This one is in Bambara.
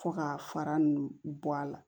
Fo ka fara nunnu bɔ a la